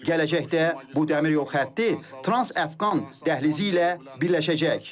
Gələcəkdə bu dəmir yol xətti trans-Əfqan dəhlizi ilə birləşəcək.